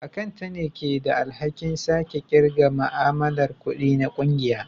Akanta ne ke da alhakin sake kirga ma'amalar kudi na kungiya